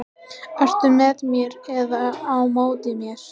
Ertu með mér eða á móti mér?